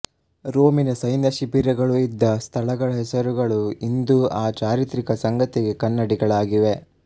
ರೋಮಿನ ಸೈನ್ಯ ಶಿಬಿರಗಳು ಇದ್ದ ಸ್ಥಳಗಳ ಹೆಸರುಗಳು ಇಂದೂ ಆ ಚಾರಿತ್ರಿಕ ಸಂಗತಿಗೆ ಕನ್ನಡಿಗಳಾಗಿವೆ